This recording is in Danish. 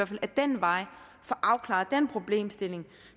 vi ad den vej få afklaret den problemstilling